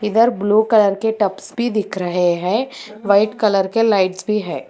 इधर blue colour के tubs भी दिख रहे हैं व्हाइट कलर के लाइट्स भी है।